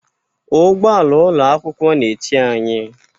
Ụgbọ ala ụlọ akwụkwọ na-eche anyị.